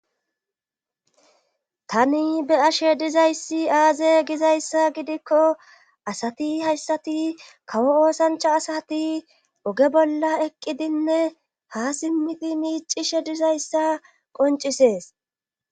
Tani be ashe dizayssi aaze gizayssa gidikko asati hayssati kawo oosancha asati oge bolla eqqidinne ha simmiti miicishe dizayssa qoncisees.